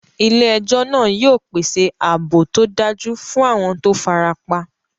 Ilé ejó náà yio pèsè ààbò tódájú fún àwon to farapa